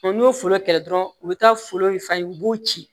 n'u ye foro kɛlɛ dɔrɔn u bi taa foro in f'a ye u b'u ci